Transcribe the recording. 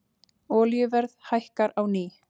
Olíuverð hækkar á ný